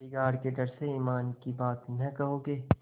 बिगाड़ के डर से ईमान की बात न कहोगे